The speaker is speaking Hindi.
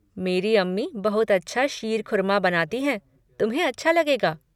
मेरी अम्मी बहुत अच्छा शीर खुरमा बनाती हैं, तुम्हें अच्छा लगेगा।